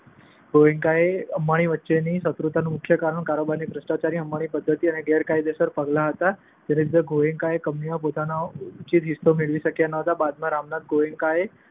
ગોએન્કા અને અંબાણી વચ્ચેની શત્રુતાનું મુખ્ય કારણ કારોબારમાં ભ્રષ્ટાચારની અંબાણીની પદ્ધતિ અને ગેરકાયેદસર પગલા હતા, જેના લીધે ગોએન્કા કંપનીમાં પોતાનો ઉચિત હિસ્સો મેળવી શક્યા નહોતા. બાદમાં રામનાથ ગોએન્કાએ